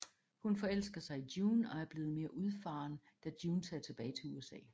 Hun forelsker sig i June og er blevet mere udfaren da June tager tilbage til USA